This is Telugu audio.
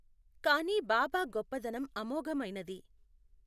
కాని బాబా గొప్పదనం అమోఘమైనది.